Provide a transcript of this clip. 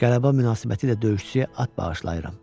Qələbə münasibətilə döyüşçüyə at bağışlayıram.